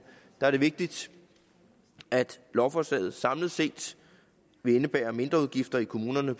er det vigtigt at lovforslaget samlet set vil indebære mindre udgifter i kommunerne